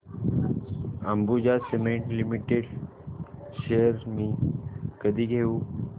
Ambuja cement limited shares मी कधी घेऊ